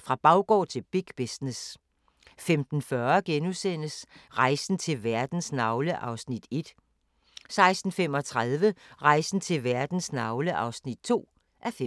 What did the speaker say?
Fra baggård til big business 15:40: Rejsen til verdens navle (1:5)* 16:35: Rejsen til verdens navle (2:5)